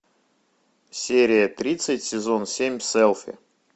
серия тридцать сезон семь селфи